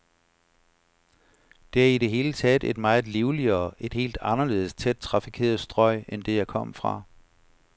Det er i det hele taget et meget livligere, et helt anderledes tæt trafikeret strøg end det, jeg kom fra.